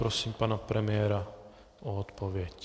Prosím pana premiéra o odpověď.